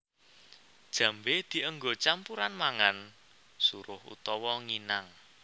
Jambé dienggo campuran mangan suruh utawa nginang